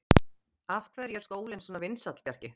Af hverju er skólinn svona vinsæll, Bjarki?